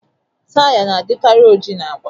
Taya na-adikarị oji na agba